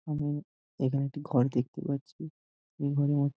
আমি এইখানে একটি ঘর দেখতে পাচ্ছি এই ঘরের মধ্যে--